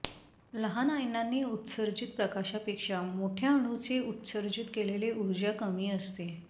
लहान आयनांनी उत्सर्जित प्रकाशापेक्षा मोठ्या अणूंचे उत्सर्जित केलेले उर्जा कमी असते